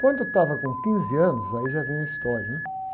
Quando eu estava com quinze anos, aí já vem a história, né?